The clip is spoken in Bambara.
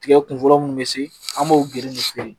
Tigɛ kun fɔlɔ munnu be se an b'o girin